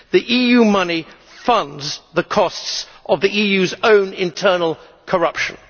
EU money funds the costs of the EU's own internal corruption.